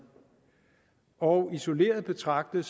og isoleret betragtet